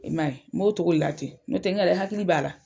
I ma ye m'o cogo de la ten, n'o tɛ n yɛrɛ n hakili b'a la.